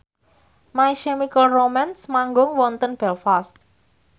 My Chemical Romance manggung wonten Belfast